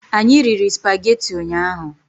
Anyị riri spagetị ụnyaahụ